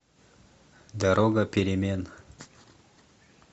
дорога перемен